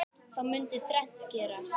Þá mundi þrennt gerast